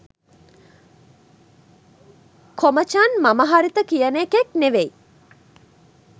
කොමචන් මම හරිත කියන එකෙක් නෙවෙයි